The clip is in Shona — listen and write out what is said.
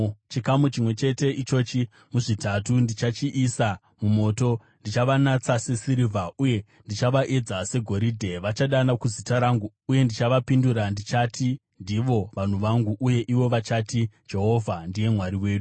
Chikamu chimwe chete ichochi muzvitatu ndichachiisa mumoto; ndichavanatsa sesirivha uye ndichavaedza segoridhe. Vachadana kuzita rangu uye ndichavapindura; ndichati, ‘Ndivo vanhu vangu.’ Uye ivo vachati, ‘Jehovha ndiye Mwari wedu.’ ”